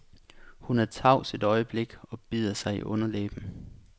Hun er tavs et øjeblik og bider sig i underlæben.